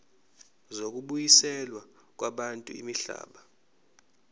zokubuyiselwa kwabantu imihlaba